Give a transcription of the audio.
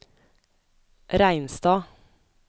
Reinstad